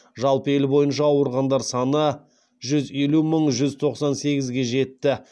жалпы ел бойынша ауырғандар саны жүз елу мың жүз тоқсан сегізге жетті